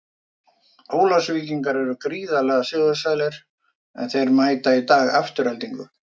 Ólafsvíkingar eru gríðarlega sigursælir, en þeir mæta í dag Aftureldingu.